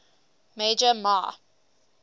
major mah